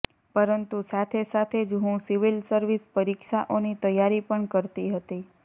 પરંતુ સાથે સાથે જ હું સિવિલ સર્વિસ પરીક્ષાઓની તૈયારી પણ કરતી હતી